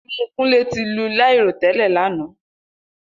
Imu Kunle ti lu lairotẹlẹ lana.